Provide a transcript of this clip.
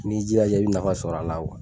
N'i jilaja i bɛ nafa sɔrɔ a la